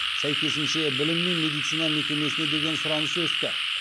сәйкесінше білім мен медицина мекемесіне деген сұраныс өсті